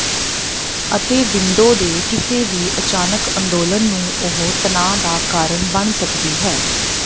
ਅਤੇ ਵਿੰਡੋ ਦੇ ਕਿਸੇ ਵੀ ਅਚਾਨਕ ਅੰਦੋਲਨ ਨੂੰ ਉਹ ਤਣਾਅ ਦਾ ਕਾਰਨ ਬਣ ਸਕਦੀ ਹੈ